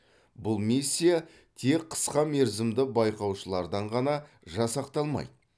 бұл миссия тек қысқа мерзімді байқаушылардан ғана жасақталмайды